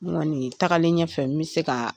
Ne kɔni tagalen ɲɛfɛ, n bi se ka